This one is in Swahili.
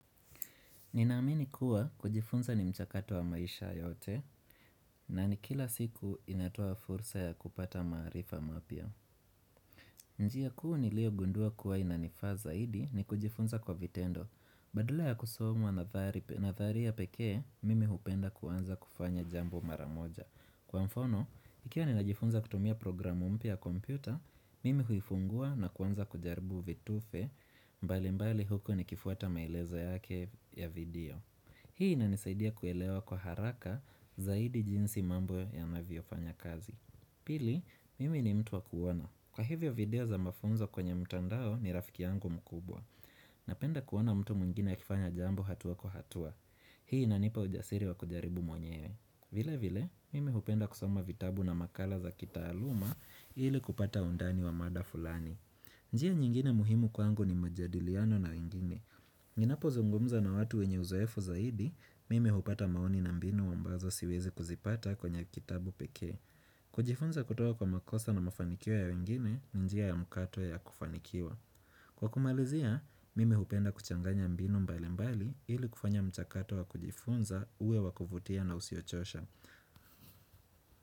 Ninaamini kuwa kujifunza ni mchakato wa maisha yote na ni kila siku inatoa fursa ya kupata maarifa mapia. Njiya kuu niliogundua kuwa inanifa zahidi ni kujifunza kwa vitendo. Badala ya kusoma nathariya pekee, mimi hupenda kuanza kufanya jambo maramoja. Kwa mfano, ikiwa ninajifunza kutumia programu mpia ya kompyuta, mimi huifungua na kuanza kujaribu vitufe mbali mbali huku nikifuata mailezo yake ya video. Hii inanisaidia kuelewa kwa haraka zaidi jinsi mambo yanaviofanya kazi Pili, mimi ni mtu wa kuwona Kwa hivyo video za mafunzo kwenye mtandao ni rafiki yangu mkubwa Napenda kuwona mtu mwingine akifanya jambo hatuwa kwa hatua Hii inanipa ujasiri wa kujaribu mwenyewe vile vile, mimi hupenda kusoma vitabu na makala za kitaaluma ili kupata undani wa mada fulani njia nyingine muhimu kwa angu ni majadiliano na wengine Ninapozungumza na watu wenye uzoefu zaidi, mimi hupata maoni na mbinu wambazo siwezi kuzipata kwenye kitabu peke kujifunza kutoka kwa makosa na mafanikio ya wengine ni njia ya mkato ya kufanikiwa Kwa kumalizia, mimi hupenda kuchanganya mbinu mbali mbali ili kufanya mchakato wa kujifunza uwe wakuvutia na usiochosha.